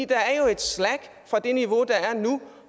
der er jo et slack fra det niveau der er nu